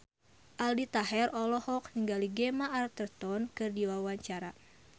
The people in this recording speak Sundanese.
Aldi Taher olohok ningali Gemma Arterton keur diwawancara